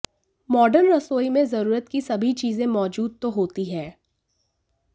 modern रसोई में जरूरत की सभी चीजें मौजूद तो होती है